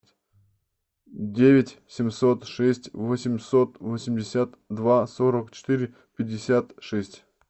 девять семьсот шесть восемьсот восемьдесят два сорок четыре пятьдесят шесть